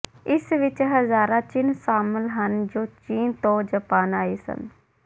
ਇਸ ਵਿਚ ਹਜ਼ਾਰਾਂ ਚਿੰਨ੍ਹ ਸ਼ਾਮਲ ਹਨ ਜੋ ਚੀਨ ਤੋਂ ਜਪਾਨ ਆਏ ਸਨ